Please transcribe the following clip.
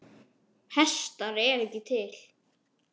Hestar eru ekki til.